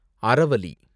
Aravalli